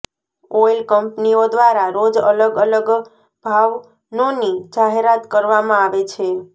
oil કંપનીઓ દ્વારા રોજ અલગ અલગ ભાવનોની જાહેરાત કરવામાં આવે છે